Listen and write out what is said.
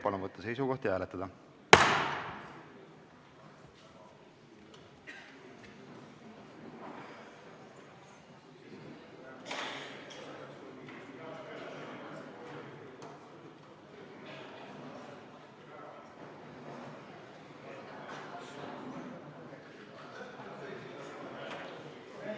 Palun võtta seisukoht ja hääletada!